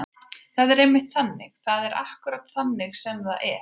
Það er einmitt þannig. það er akkúrat þannig sem það er.